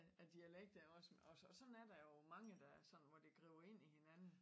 Af dialekter også og sådan er der jo mange der sådan hvor det griber ind i hinanden